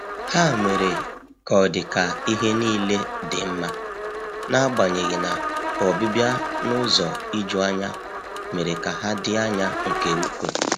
Ha mere ka ọdị ka ihe niile dị mma, n'agbanyeghi na ọbịbịa n’ụzọ ijuanya mere ka ha dị anya nke ukwuu.